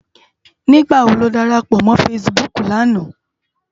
Nigbá wó ló dárápò mò fãsibúk làná?